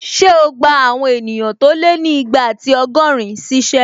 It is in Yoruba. Ṣé o gbà àwọn èèyàn tó lé ní igba ati ọgọ́rin ṣíṣẹ́?